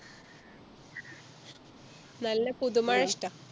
നല്ല പുതുമഴ ഇഷ്ട്ട